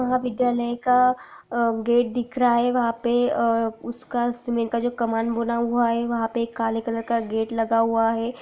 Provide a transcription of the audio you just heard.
वह विद्यालय का अअअ गेट दिख रहा है वहाँ पे अ उसका समय का जो कमान बना हुआ है वहाँ पे एक काले कलर का गेट लगा हुआ है।